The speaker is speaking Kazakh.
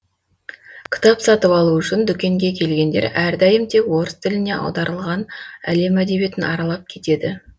кітап сатып алу үшін дүкенге келгендер әрдайым тек орыс тіліне аударылған әлем әдебиетін аралап кетеді